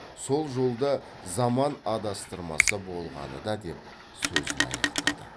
сол жолда заман адастырмаса болғаны да деп сөзін аяқтады